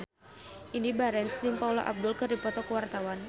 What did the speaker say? Indy Barens jeung Paula Abdul keur dipoto ku wartawan